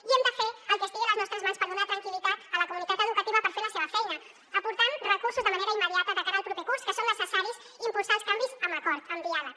i hem de fer el que estigui a les nostres mans per donar tranquil·litat a la comunitat educativa per fer la seva feina aportant recursos de manera immediata de cara al proper curs que són necessaris i impulsar els canvis amb acord amb diàleg